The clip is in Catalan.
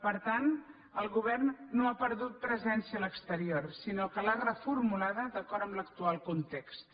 per tant el govern no ha perdut presència a l’exterior sinó que l’ha reformulada d’acord amb l’actual context